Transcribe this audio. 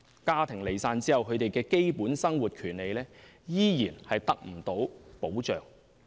家庭離散後，他們的基本生活權利依然得不到保障。